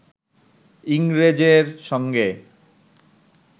ইংরেজের সঙ্গে